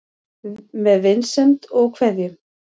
Með vinsemd og kveðjum